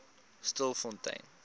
stilfontein